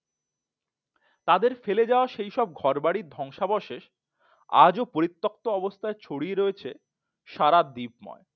তাদের ফেলে যাওয়া সেসব ঘরবাড়ির ধ্বংসাবশেষ আজও পরিত্যক্ত অবস্থায় ছড়িয়ে রয়েছে সারা দ্বীপ ময়